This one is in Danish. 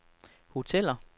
hoteller